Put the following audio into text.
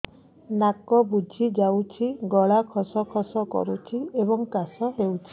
ନାକ ବୁଜି ଯାଉଛି ଗଳା ଖସ ଖସ କରୁଛି ଏବଂ କାଶ ହେଉଛି